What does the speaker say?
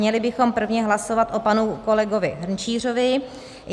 Měli bychom prvně hlasovat o panu kolegovi Hrnčířovi.